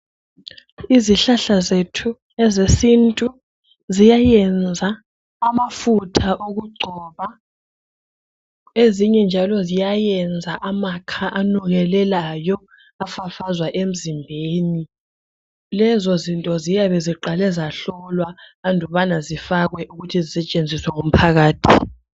Izihlahla zethu ezesintu ziyayenza amafutha okugcoba ezinye njalo ziyayenza amakha anukelelayo afafazwa emzimbeni lezo zinto ziyabe ziqale zahlolwa andubana zifakwe ukuthi zisetshenziswe ngumphakathi.